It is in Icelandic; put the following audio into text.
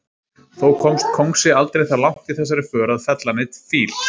Þó komst kóngsi aldrei það langt í þessari för að fella neinn fíl.